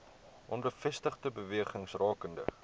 onbevestigde bewerings rakende